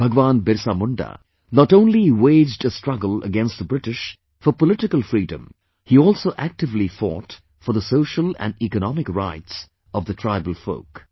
BhagwanBirsaMunda not only waged a struggle against the British for political freedom; he also actively fought for the social & economic rights of the tribal folk